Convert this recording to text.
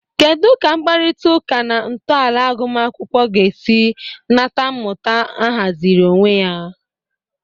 Kedu ka mkparịta ụka na ntọala agụmakwụkwọ ga-esi nata mmụta ahaziri onwe ya?